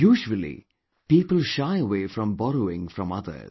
Usually, people shy away from borrowing from others